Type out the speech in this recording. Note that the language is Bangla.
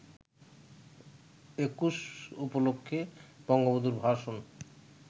একুশ উপলক্ষে বঙ্গবন্ধুর ভাষণ